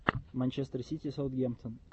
манчестер сити саутгемптон